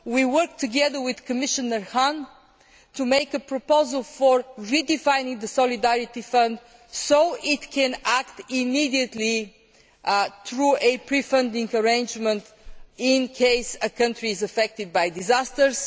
We work together with Commissioner Hahn to make a proposal for redefining the solidarity fund so that it can act immediately through a pre funding arrangement in case a country is affected by disasters.